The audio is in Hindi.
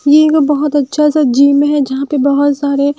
ये एक बहुत अच्छा सा जिम है जहाँ पे बहुत सारे --